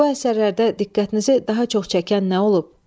Bu əsərlərdə diqqətinizi daha çox çəkən nə olub?